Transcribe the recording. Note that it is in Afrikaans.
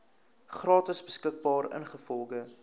gratis beskikbaar ingevolge